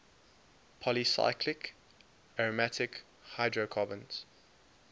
polycyclic aromatic hydrocarbons